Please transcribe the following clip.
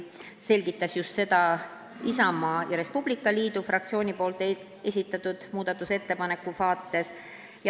Ta selgitas seda just Isamaa ja Res Publica Liidu fraktsiooni esitatud muudatusettepaneku peale.